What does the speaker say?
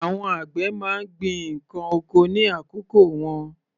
Àwọn àgbẹ̀ má ń gbin ǹkan oko ní àkókò wọn.